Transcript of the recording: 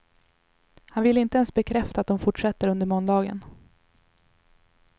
Han ville inte ens bekräfta att de fortsätter under måndagen.